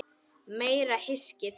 Meira hyskið!